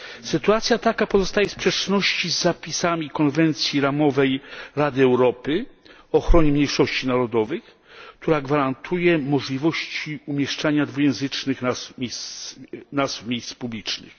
Sytuacja taka pozostaje w sprzeczności z zapisami konwencji ramowej Rady Europy o ochronie mniejszości narodowych, która gwarantuje możliwości umieszczania dwujęzycznych nazw miejsc publicznych.